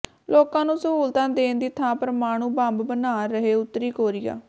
ਲੋਕਾਂ ਨੂੰ ਸਹੂਲਤਾਂ ਦੇਣ ਦੀ ਥਾਂ ਪਰਮਾਣੂ ਬੰਬ ਬਣਾ ਰਿਹੈ ਉੱਤਰੀ ਕੋਰੀਆ